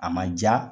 A ma ja